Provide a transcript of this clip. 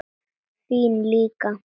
Þín líka.